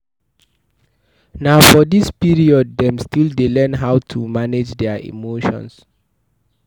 For this period dem still dey learn how to manage their emotion